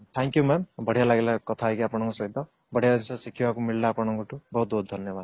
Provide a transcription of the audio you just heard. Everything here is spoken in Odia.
thank you mam ବଢିଆ ଲାଗିଲା କଥା ହେଇକି ଆପଣଙ୍କ ସହିତ ବଢିଆ ଜିନିଷ ଶିଖିବାକୁ ମିଳିଲା ଆପଣଙ୍କ ଠୁ ବହୁତ ବହୁତ ଧନ୍ୟବାଦ